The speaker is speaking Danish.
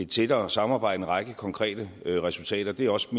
tættere samarbejde en række konkrete resultater det er også